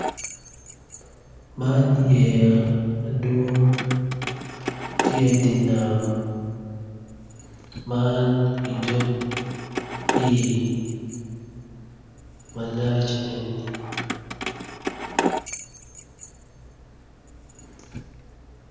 Man yeya madwong tye idi nam man i dog pii malac eni